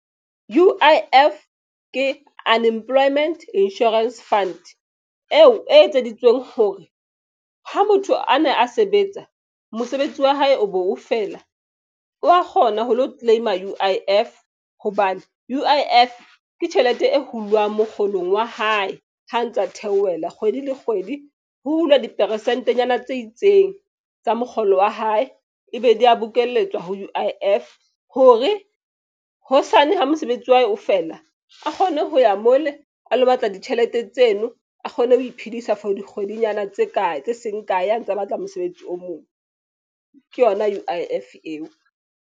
U_I_F ke Unemployment Insurance Fund eo e etseditsweng hore ha motho ane a sebetsa, mosebetsi wa hae o bo feela wa kgona ho lo claim-a U_I_F. Hobane U_I_F ke tjhelete e hulwang mokgolong wa hae. Ha ntsa theohela kgwedi le kgwedi ho hulwa diperesentenyana tse itseng tsa mokgolo wa hae. Ebe di ya bokelletswa ho U_I_F hore hosane ha mosebetsi wa hae o fela, a kgone ho ya mole a lo batla ditjhelete tseno. A kgone ho iphedisa for dikgwedinyana tse kae tse seng kae a ntse a batla mosebetsi o mong. Ke yona U_I_F eo.